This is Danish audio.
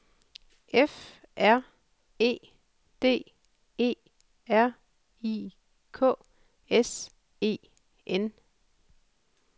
F R E D E R I K S E N